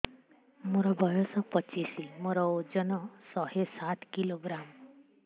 ମୋର ବୟସ ପଚିଶି ମୋର ଓଜନ ଶହେ ସାତ କିଲୋଗ୍ରାମ